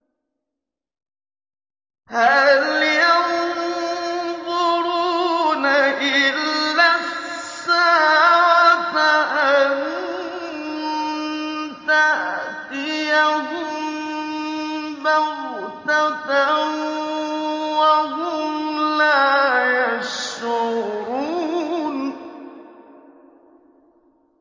هَلْ يَنظُرُونَ إِلَّا السَّاعَةَ أَن تَأْتِيَهُم بَغْتَةً وَهُمْ لَا يَشْعُرُونَ